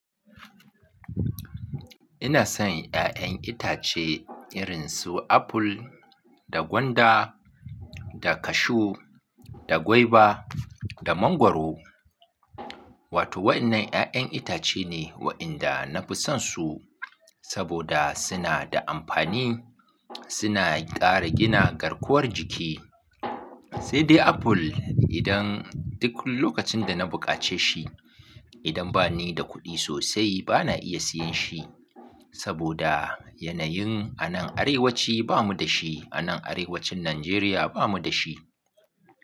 Inasan yayan itace irinsu apple da gwanda da cashew da gwaiba da manguaro wato wa'innan 'ya'yan itace ne wa'ianda na fi san su saboda suna da amfani, suna ƙara gina garkuwar jiki. Sai dai apple idan duk lokacin da na buƙace shi, idan bani da kuɗi sosai bana iya siyan shi. Saboda yanayin anan arewaci bamu da shi anan arewacin Nanjeriya bamu da shi.